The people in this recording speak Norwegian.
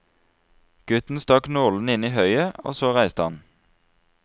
Gutten stakk nålene inn i høyet, og så reiste han.